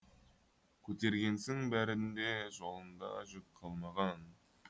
көтергенсің бәрін де жолыңда жүк қалмаған